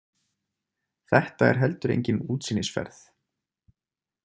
Þetta er heldur engin útsýnisferð.